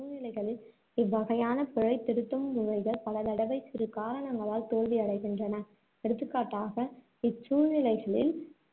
சூழ்நிலைகளில், இவ்வகையான பிழை திருத்தும் முறைகள் பலதடவை சிறு காரணங்களால் தோல்வி அடைகின்றன. எடுத்துக்காட்டாக, இச்சூழ்நிலைகளில்